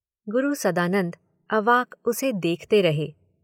गुरु सदानंद अवाक उसे देखते रहे